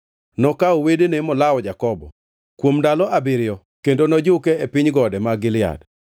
Nokawo wedene molawo Jakobo; kuom ndalo abiriyo; kendo nojuke e piny gode mag Gilead.